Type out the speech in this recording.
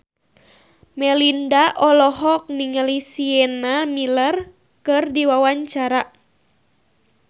Melinda olohok ningali Sienna Miller keur diwawancara